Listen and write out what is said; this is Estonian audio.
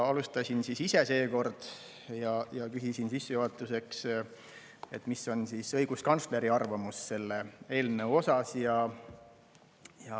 Alustasin ise seekord ja küsisin sissejuhatuseks, mis on õiguskantsleri arvamus selle eelnõu kohta.